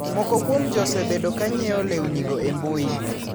Moko kuom ji osebedo ka nyieo lewnigo e mbui.